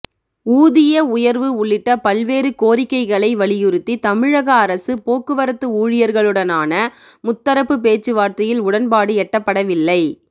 ஊதிய உயர்வு உள்ளிட்ட பல்வேறு கோரிக்கைகளை வலியுறுத்தி தமிழக அரசு போக்குவரத்து ஊழியர்களுடனான முத்தரப்பு பேச்சுவார்த்தையில் உடன்பாடு எட்டப்படவில்லை